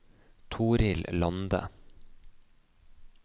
Torhild Lande